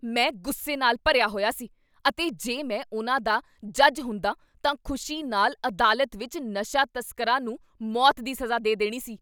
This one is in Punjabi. ਮੈਂ ਗੁੱਸੇ ਨਾਲ ਭਰਿਆ ਹੋਇਆ ਸੀ ਅਤੇ ਜੇ ਮੈਂ ਉਨ੍ਹਾਂ ਦਾ ਜੱਜ ਹੁੰਦਾ ਤਾਂ ਖ਼ੁਸ਼ੀ ਨਾਲ ਅਦਾਲਤ ਵਿੱਚ ਨਸ਼ਾ ਤਸਕਰਾਂ ਨੂੰ ਮੌਤ ਦੀ ਸਜ਼ਾ ਦੇ ਦੇਣੀ ਸੀ।